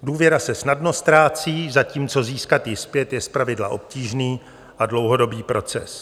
Důvěra se snadno ztrácí, zatímco získat ji zpět je zpravidla obtížný a dlouhodobý proces.